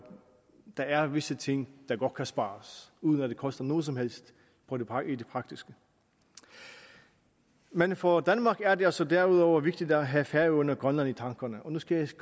der er visse ting der godt kan spares uden at det koster noget som helst i det praktiske men for danmark er det altså derudover vigtigt at have færøerne og grønland i tankerne og nu skal